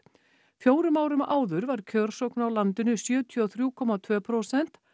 fjórum árum áður var kjörsókn á landinu sjötíu og þrjú komma tvö prósent